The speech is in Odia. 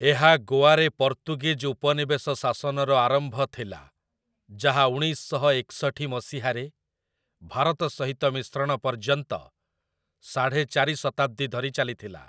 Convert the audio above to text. ଏହା ଗୋଆରେ ପର୍ତ୍ତୁଗୀଜ ଉପନିବେଶ ଶାସନର ଆରମ୍ଭ ଥିଲା, ଯାହା ଉଣେଇଶ ଶହ ଏକଷଠି ମସିହାରେ ଭାରତ ସହିତ ମିଶ୍ରଣ ପର୍ଯ୍ୟନ୍ତ ସାଢ଼େ ଚାରି ଶତାବ୍ଦୀ ଧରି ଚାଲିଥିଲା ।